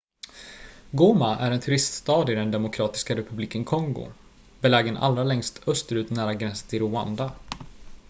goma är en turiststad i den demokratiska republiken kongo belägen allra längst österut nära gränsen till rwanda